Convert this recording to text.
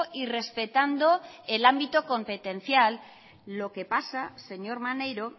y respetando el ámbito competencial lo que pasa señor maneiro